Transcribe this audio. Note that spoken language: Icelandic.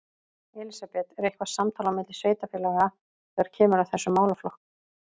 Elísabet: Er eitthvað samtal á milli sveitarfélaga þegar kemur að þessum málaflokk?